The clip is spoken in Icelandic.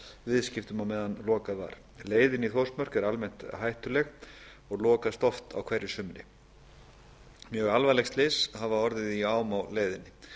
viðskiptum meðan lokað var leiðin í þórsmörk er almennt hættuleg og lokast oft á hverju sumri mjög alvarleg slys hafa orðið í ám á leiðinni